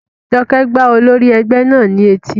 Jọkẹ́ gbá olórí ẹgbẹ́ náà ní etí